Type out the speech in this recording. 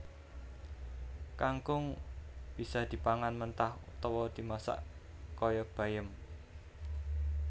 Kangkung bisa dipangan mentah utawa dimasak kaya bayem